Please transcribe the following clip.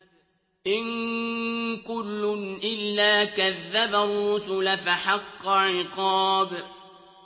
إِن كُلٌّ إِلَّا كَذَّبَ الرُّسُلَ فَحَقَّ عِقَابِ